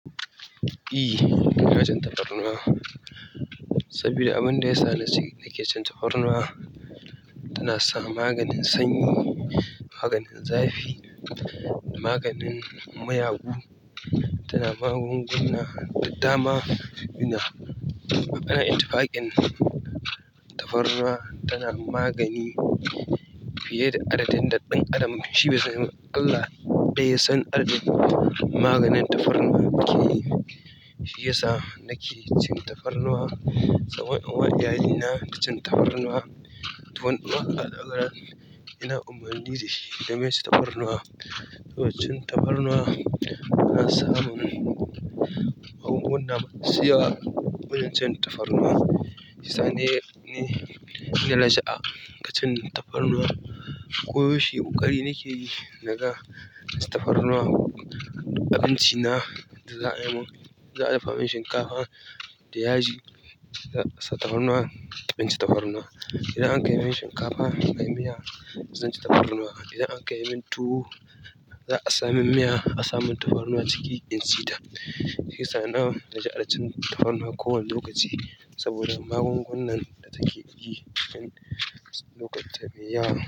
E, ina cin tafarnuwa saboda abin da yasa nace nake cin tafarnuwa, tana sa maganin sanyi, maganin zafi, maganin mayagu, tana magunguna da dama, ina itifaƙin. Tafarnuwa tana magani fiye da adadin da ɗan adam shi bisan Allah ɗaya ya san adadin maganin tafarnuwa yake yi. Shi yasa nake cin tafarnuwa saboda uwar yayana ta cin tafarnuwa. Ina umarnin da shi da game da cin tafarnuwa. To cin tafarnuwa na sa mun magunguna masu yawa. Wajen cin tafarnuwa, shiyasa ni na raja'a wajen cin tafarnuwa. Ko yaushe koƙari nake yi naga ina cin tafarnuwa. Abinci na da za a yimin, za a dafa min shinkafa da yaji za'a sa tafarnuwa, zan ci tafarnuwa. Idan an kai min shinkafa da miya, zan ci tafarnuwa. Idan an kai min tuwo, za a sa min miya, a sa mun tafarnuwa ciki in ci ta. Shiyasa na raja'a cin tafarnuwa kowane lokaci saboda magungunan da take yi a lokutan mai yawa.